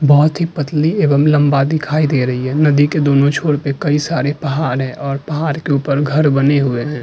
बहुत ही पतली एवं लम्बा दिखाई दे रही है नदी के दोनों छोर पे कई सारे पहाड़ हैं और पहाड़ के ऊपर घर बने हुए हैं।